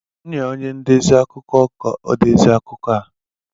M nye onye ndezi akụkọ ka o dezie akụkọ a?